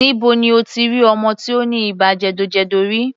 Níbo ni o ti rí ọmọ tí ó ní ibà jẹ̀dọ̀jẹ̀dọ̀ rí?